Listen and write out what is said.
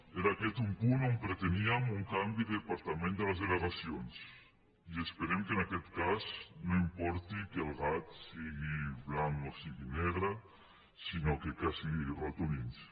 era aquest un punt on preteníem un canvi de departament de les delegacions i esperem que en aquest cas no importi que el gat sigui blanc o sigui negre sinó que caci ratolins